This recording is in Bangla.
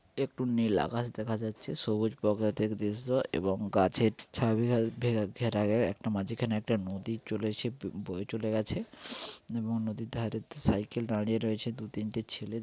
একটু নীল আকাশ দেখা যাচ্ছে সবুজ প্রকৃতিক দৃশ্য এবং গাছের ছবি | একটা মাঝিখানে একটা নদী চলেছে বো-বয়ে চলে গেছে | এবং নদীর ধরে সাইকেল দাঁড়িয়ে রয়েছে |দু তিনটে ছেলে--